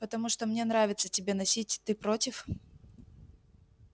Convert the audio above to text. потому что мне нравится тебя носить ты против